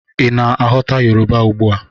Ị na-aghọta Yoruba ugbua